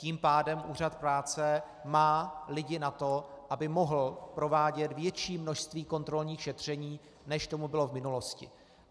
Tím pádem Úřad práce má lidi na to, aby mohl provádět větší množství kontrolních šetření, než tomu bylo v minulosti.